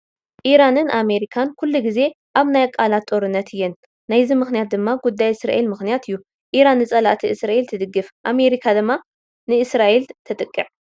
ኢራንን ኣሜሪካን ኩሉ ግዜ ኣብ ናይ ቃላት ጦርነት እየን ናይዚ ምኽንያት ድማ ጉዳይ እስራኤል ምኽንያት እዩ፡፡ ኢራን ንፀላእቲ እስራኤል ትድግፍ፤ ኣሜሪካ ድማ ንእስራኤል ተዕጥቕ፡፡